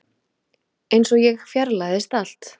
Einsog ég fjarlægðist allt.